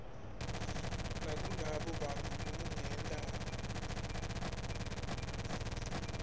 nakulabo bantfu lekungenta